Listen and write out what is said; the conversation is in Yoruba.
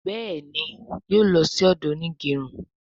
Béèni yóò ló sì odo Onigerun.